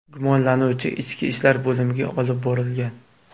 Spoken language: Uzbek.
Gumonlanuvchi ichki ishlar bo‘limiga olib borilgan.